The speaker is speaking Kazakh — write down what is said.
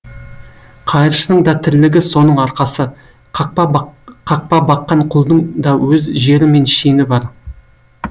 қайыршының да тірлігі соның арқасы қақпа баққан құлдың даөз жері мен шені бар